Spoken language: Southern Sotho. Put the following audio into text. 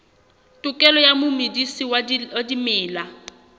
tokelo ya momedisi wa dimela